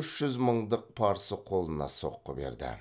үш жүз мыңдық парсы қолына соққы берді